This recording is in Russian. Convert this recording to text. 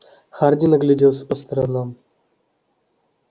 хардин огляделся по сторонам